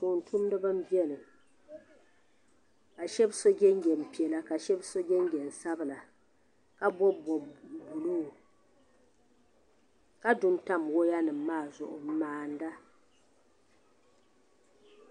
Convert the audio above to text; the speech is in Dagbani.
Tuun tumdiba n bɛni ka shɛba so jinjam piɛla ka shɛba so jinjam sabila ka bɔbi bɔbi buluu ka du n tabi waya nim maa zuɣu n maanda.